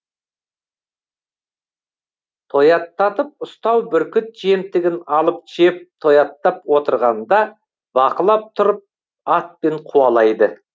тояттатып ұстау бүркіт жемтігін алып жеп тояттап отырғанда бақылап тұрып атпен қуалайды